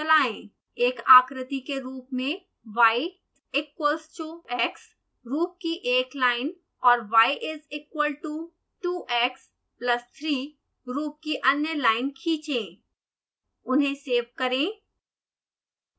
एक आकृति के रूप में y equals to x रूप की एक लाइन और y is equal to 2x plus 3 रूप की अन्य लाइन खींचें उन्हें सेव करें